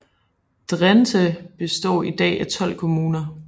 Drenthe består i dag af 12 kommuner